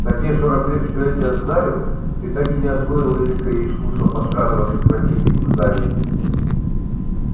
за те сорок лет что я тебя знаю ты так и не освоил великое искусство подкрадываться к противнику сзади